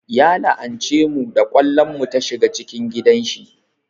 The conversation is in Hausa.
Ya la'ance mu da ƙwallon mu ta shiga cikin gidan shi